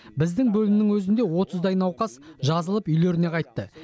біздің бөлімнің өзінде отыздай науқас жазылып үйлеріне қайтты